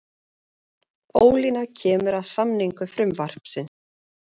Ólína kemur að samningu frumvarpsins